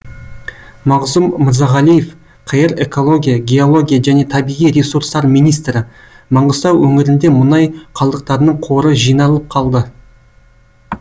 мағзұм мырзағалиев қр экология геология және табиғи ресурстар министрі маңғыстау өңірінде мұнай қалдықтарының қоры жиналып қалды